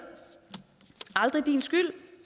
aldrig din skyld